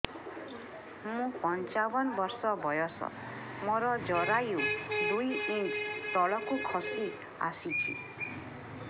ମୁଁ ପଞ୍ଚାବନ ବର୍ଷ ବୟସ ମୋର ଜରାୟୁ ଦୁଇ ଇଞ୍ଚ ତଳକୁ ଖସି ଆସିଛି